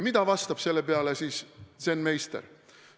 Mida vastab selle peale zen-meister?